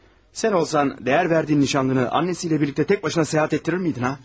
Sən olsan dəyər verdiyin nişanlını anasıyla birlikdə tək başına səyahət etdirərdinmi, hə?